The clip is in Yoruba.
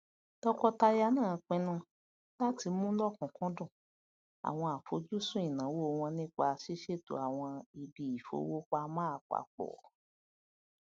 tọkọtaya náà pinnu láti mú lọkùnkúndùn àwọn àfojúsùn ìnáwó wọn nípa ṣísètò àwọn ibiìfowopamọ apapọ